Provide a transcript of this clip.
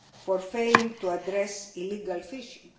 countries for failing to address illegal